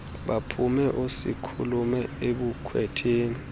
baphume oosikhulume ebukhwetheni